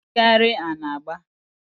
Ị na-eyikarị anagba?